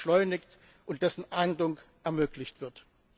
beschleunigt und dessen Ahndung ermöglicht wird.